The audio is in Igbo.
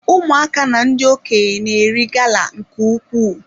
Ụmụaka na ndị okenye na-eri gala nke ukwuu.